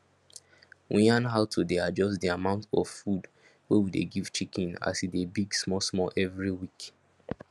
we yarn how to dey adjust di amount of food wey we give chicken as e dey big smallsmall every week